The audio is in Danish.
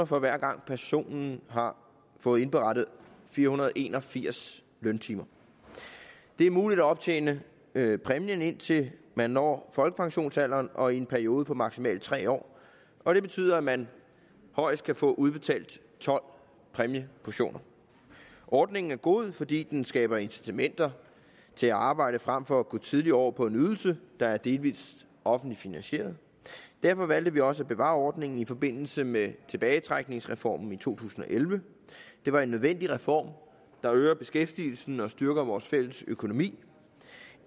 for hver gang personen har fået indberettet fire hundrede og en og firs løntimer det er muligt at optjene præmien indtil man når folkepensionsalderen og i en periode på maksimalt tre år og det betyder at man højst kan få udbetalt tolv præmieportioner ordningen er god fordi den skaber incitamenter til at arbejde frem for at gå tidligt over på en ydelse der er delvis offentligt finansieret derfor valgte vi også at bevare ordningen i forbindelse med tilbagetrækningsreformen i to tusind og elleve det var en nødvendig reform der øger beskæftigelsen og styrker vores fælles økonomi